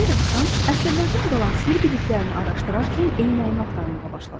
Bir axşam, əsrlərdən qalan sirr biliklərini araşdırarkən eynəyimi axtarmağa başladım.